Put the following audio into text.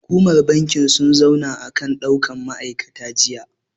Hukumar bankin sun zauna akan ɗaukan ma'aikata jiya.